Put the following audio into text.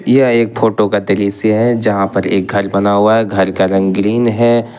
यह एक फोटो का दृश्य है जहां पर एक घर बना हुआ है घर का रंग ग्रीन है।